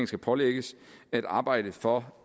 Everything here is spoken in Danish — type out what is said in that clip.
skal pålægges at arbejde for